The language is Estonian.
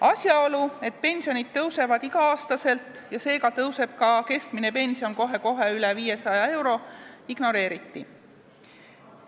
Asjaolu, et pensionid tõusevad iga aasta ja seega tõuseb ka keskmine pension kohe-kohe üle 500 euro, ignoreeriti.